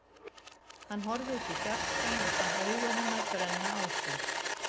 Hann horfði út í fjarskann en fann augu hennar brenna á sér.